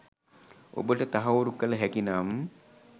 ඔබට තහවුරු කල හැකිනම්